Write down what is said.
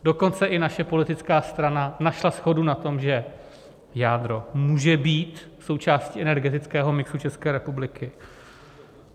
Dokonce i naše politická strana našla shodu na tom, že jádro může být součástí energetického mixu České republiky.